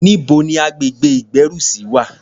Níbo ni agbègbè ìgbérùsí wà?